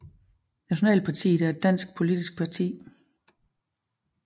Nationalpartiet er et dansk politisk parti